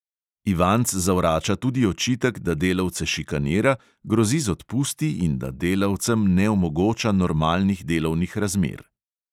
Ivanc zavrača tudi očitek, da delavce šikanira, grozi z odpusti in da delavcem ne omogoča normalnih delovnih razmer.